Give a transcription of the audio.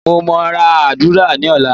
mo o ni ra udara ni ọlá